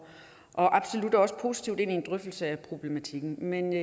også positivt ind i en drøftelse af problematikken men